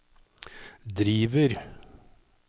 driver